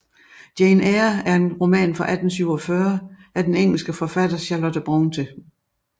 Jane Eyre er en roman fra 1847 af den engelske forfatter Charlotte Brontë